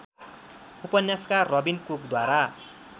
उपन्यासकार रबिन कुकद्वारा